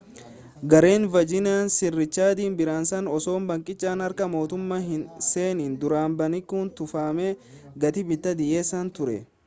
gareen verjin' sir riichaardi biraansan osoo baankichi harka mootummaa hin seenin dura baankii tufameef gatii bittaa dhiyeessee ture